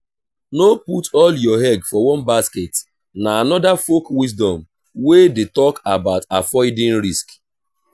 no put all your egg for one basket na another folk wisdom wey de talk about avoiding risk